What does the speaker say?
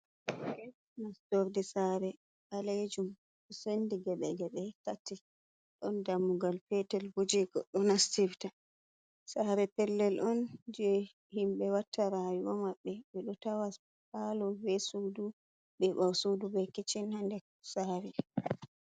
Nastorde saare ɓalejum, sendi geɓe-geɓe tati. Ɗon dammugal peetel bo je goɗɗo nastirta. Saare pellel on je himɓe watta rayuwa maɓɓe. Ɓe ɗo tawa palo be suudu be ɓawo sudu be kishin haa nder saare.